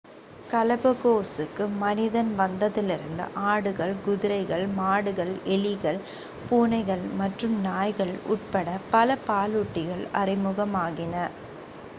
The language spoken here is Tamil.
கலபகோஸுக்கு மனிதன் வந்ததிலிருந்து ஆடுகள் குதிரைகள் மாடுகள் எலிகள் பூனைகள் மற்றும் நாய்கள் உட்பட பல பாலூட்டிகள் அறிமுகமாகின